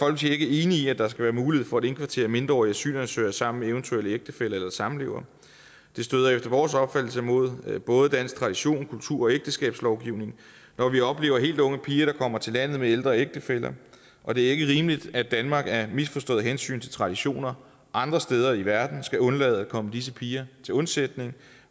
er ikke enig i at der skal være mulighed for at indkvartere mindreårige asylansøgere sammen med eventuelle ægtefæller eller samlevere det støder efter vores opfattelse mod både dansk tradition kultur og ægteskabslovgivning når vi oplever helt unge piger der kommer til landet med ældre ægtefæller og det er ikke rimeligt at danmark af misforståede hensyn til traditioner andre steder i verden skal undlade at komme disse piger til undsætning